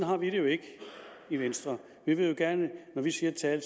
har vi det jo ikke i venstre når vi siger et tal